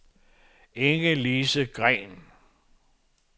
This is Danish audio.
Inge-Lise Green